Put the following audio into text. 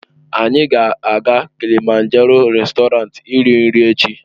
Anyị ga-aga Kilịmanjaroo réstọranti iri nri echi.